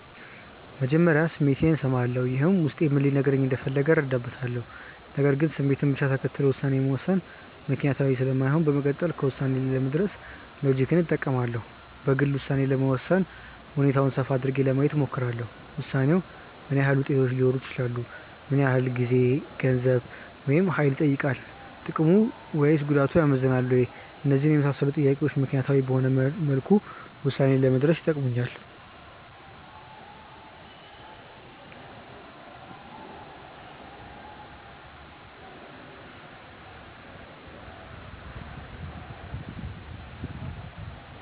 መጀመሪያ ስሜቴን እሰማለሁ። ይህም ውስጤ ምን ሊነግረኝ እንደፈለገ እረዳበታለሁ። ነገር ግን ስሜትን ብቻ ተከትሎ ውሳኔ መወሰን ምክንያታዊ ስለማይሆን በመቀጠል ከውሳኔ ላይ ለመድረስ ሎጂክን እጠቀማለሁ። በግሌ ውሳኔ ለመወሰን ሁኔታውን ሰፋ አድርጌ ለማየት እሞክራለሁ። ውሳኔው ምን ዓይነት ውጤቶች ሊኖሩት ይችላሉ? ምን ያህል ጊዜ፣ ገንዘብ፣ ወይም ሀይል ይጠይቃል። ጥቅሙ ወይስ ጉዳቱ ያመዝናል ወይ? እነዚህን የመሳሰሉ ጥያቄዎች ምክንያታዊ በሆነ መልኩ ውሳኔ ላይ ለመድረስ ይጠቅሙኛል።